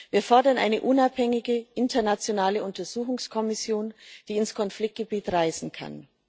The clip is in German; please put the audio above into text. Wir fordern eine unabhängige internationale Untersuchungskommission, die ins Konfliktgebiet reisen kann.